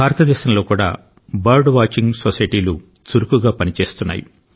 భారతదేశంలో కూడా bird watching సొసైటీలు చురుకుగా పని చేస్తున్నాయి